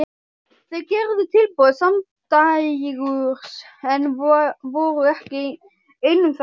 Þau gerðu tilboð samdægurs en voru ekki ein um það.